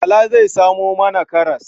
Bala zai samo mana karas.